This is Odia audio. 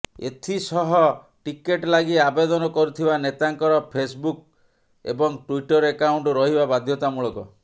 ଏଥିସହ ଟିକଟ ଲାଗି ଆବେଦନ କରୁଥିବା ନେତାଙ୍କର ଫେସ୍ବୁକ୍ ଏବଂ ଟୁଇଟର ଆକାଉଣ୍ଟ୍ ରହିବା ବାଧ୍ୟତାମୂଳକ